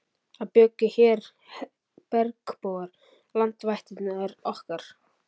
Það bjuggu hér bergbúar, landvættirnar okkar.